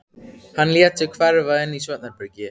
Hann lét sig hverfa inn í svefnherbergi.